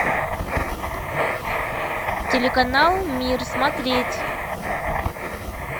телеканал мир смотреть